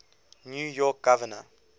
new york governor